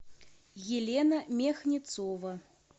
елена мехницова